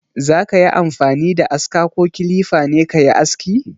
Za ka yi amfani da aska ko kilifa ne ka yi aski?